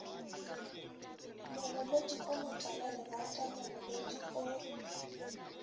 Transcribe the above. mogolodi o motalalerata mogolodi o